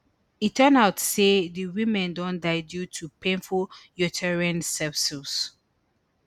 e turn out say di women don die due to painful uterine sepsis